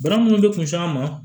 Bana minnu bɛ kunsigi an ma